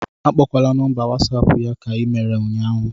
Akpọkwala nọmba whatsapp ya ka i mere ụnyahụ